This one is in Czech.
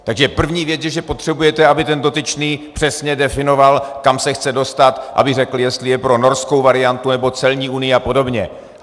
Takže první věc je, že potřebujete, aby ten dotyčný přesně definoval, kam se chce dostat, aby řekl, jestli je pro norskou variantu, nebo celní unii a podobně.